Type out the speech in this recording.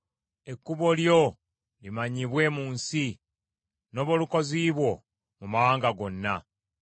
Ekkubo lyo limanyibwe mu nsi, n’obulokozi bwo mu mawanga gonna.